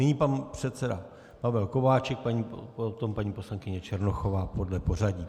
Nyní pan předseda Pavel Kováčik, potom paní poslankyně Černochová podle pořadí.